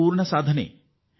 ಮತ್ತು ನಿಮಗೆ ಸಂತೋಷ ಆಗಬಹುದು